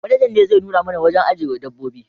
Manaja ne zai nuna mana wurin ajiye dabbobi